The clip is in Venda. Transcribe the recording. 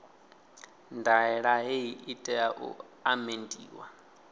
ndaela hei i tea u amendiwa